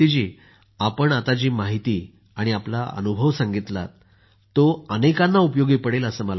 आपण आता जी माहिती आणि आपला अनुभव सांगितला तो अनेकांना उपयोगी पडेल असे मला वाटते